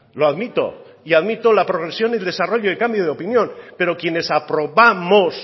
lo admito y admito la progresión el desarrollo y el cambio de opinión pero quienes aprobamos